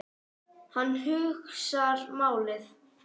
Hann hugsar málið.